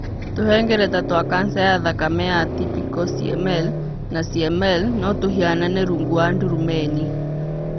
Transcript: Tũhengereta twa kanca ya thakame ya atypical CML na CML nĩ tũhianaine rungu rwa ndurumeni.